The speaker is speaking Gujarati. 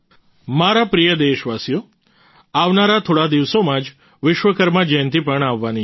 મારા પ્રિય દેશવાસીઓ આવનારા થોડા દિવસોમાં જ વિશ્વકર્મા જયંતિ પણ આવવાની છે